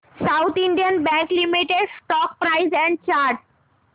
south Indian Bank Limited stock price and chart